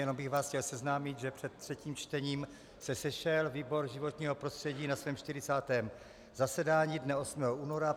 Jenom bych vás chtěl seznámit, že před třetím čtením se sešel výbor životního prostředí na svém 40. zasedání dne 8. února.